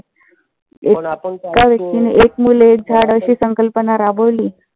जर तुम्ही एक मुल एक झाड अशी संकल्पना राबवली.